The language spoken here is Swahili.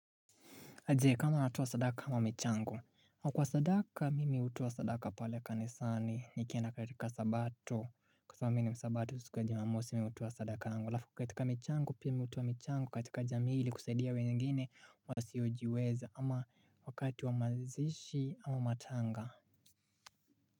Je kama natoa sadaka kama michango au kwa sadaka mimi hutoa sadaka pale kanisani nikienda katika sabato kwa sababu mimi ni msabato siku ya jumamosi mimi hutoa sadaka langu alafu katika michango pia mi hutoa michango katika jamii ili kusaidia wengine wasiyojiweza ama wakati wa mazishi ama matanga.